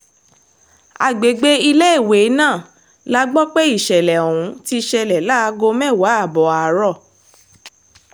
àgbègbè iléèwé náà la gbọ́ pé ìṣẹ̀lẹ̀ ọ̀hún ti ṣẹlẹ̀ láago mẹ́wàá ààbọ̀ àárọ̀